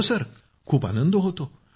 हो खूप आनंद होतो